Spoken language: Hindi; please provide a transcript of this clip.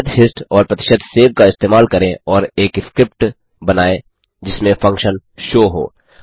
प्रतिशत हिस्ट और प्रतिशत सेव का इस्तेमाल करें और एक स्क्रिप्ट बनाएँ जिसमें फंक्शन show हो